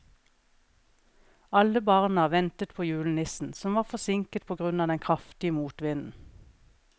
Alle barna ventet på julenissen, som var forsinket på grunn av den kraftige motvinden.